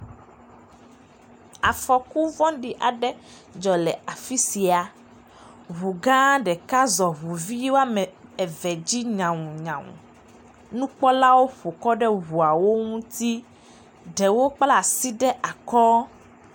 Afɔku vɔ̃ɖi aɖe dzɔ le afi sia, ŋu gã ɖeka zɔ ŋu vi woame eve dzi nyawunyawu, nukpɔlawo ƒokɔ ɖe ŋuawo ŋuti ɖewo kpla asi ɖe akɔ.